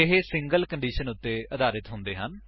ਇਹ single condition ਉੱਤੇ ਆਧਾਰਿਤ ਹੁੰਦੇ ਹਨ